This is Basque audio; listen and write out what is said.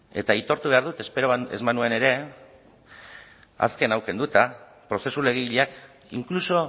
eta aitortu behar dut espero ez banuen ere azken hau kenduta prozesu legegileak inkluso